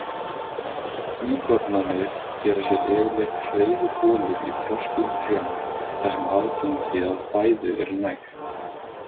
Íkornarnir gera sér yfirleitt hreiðurholur í þroskuðum trjám þar sem aðgengi að fæðu er nægt.